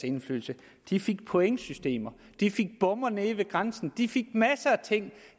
indflydelse de fik pointsystemer de fik bomme nede ved grænsen de fik masser af ting